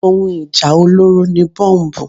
Ohun ìjà olóró ni Bọ́mbù.